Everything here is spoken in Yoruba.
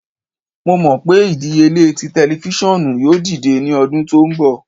Mo mọ pe idiyele ti tẹlifisiọnu yoo dide ni ọdun to nbọ